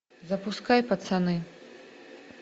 запускай пацаны